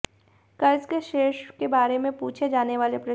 कर्ज के शेष के बारे में पूछे जाने वाले प्रश्न